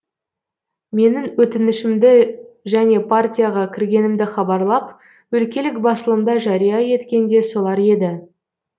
менің өтінішімді және партияға кіргенімді хабарлап өлкелік басылымда жария еткен де солар еді